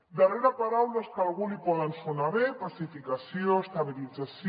darrere de paraules que a algú li poden sonar bé pacificació estabilització